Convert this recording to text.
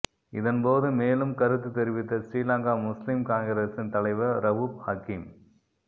இதன் போது மேலும் கருத்து தெரிவித்த ஸ்ரீலங்கா முஸ்லிம் காங்கிரசின் தலைவர் ரவூப் ஹக்கீம்